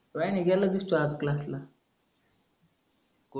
काही नाही गेल नाहीस तू आज क्लासला